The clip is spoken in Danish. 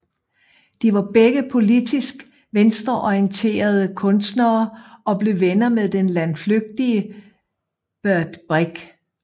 De var begge politisk venstreorienterede kunstnere og blev venner med den landflygtige Bert Brecht